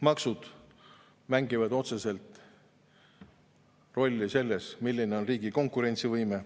Maksud mängivad otsest rolli selles, milline on riigi konkurentsivõime.